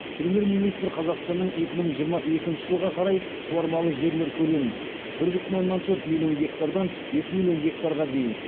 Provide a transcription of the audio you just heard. премьер министр қазақстанның екі мың жиырма екінші жылға қарай суармалы жерлер көлемін бір бүтін оннан төрт миллион гектардан екі миллион гектарға дейін